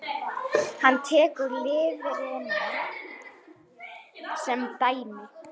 Hann tekur lifrina sem dæmi.